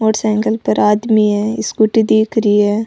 Motorcycle पर आदमी है स्कूटी दिख रही है।